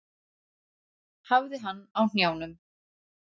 Hafði hann á hnjánum.